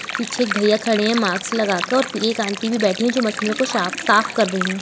पीछे एक भैया खड़े है मास्क लगा कर और एक आंटी भी बैठी है जो मछलियों को शाफ साफ कर रही है।